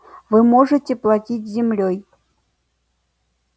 вы можете платить землёй